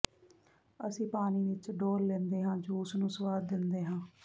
ਅਸੀਂ ਪਾਣੀ ਵਿਚ ਡੋਲ੍ਹ ਲੈਂਦੇ ਹਾਂ ਅਤੇ ਜੂਸ ਨੂੰ ਸੁਆਦ ਦਿੰਦੇ ਹਾਂ